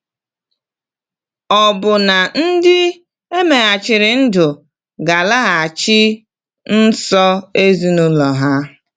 Ọ̀ bụ na ndị e megharịrị ndụ ga-alaghachi nso ezinụlọ ha?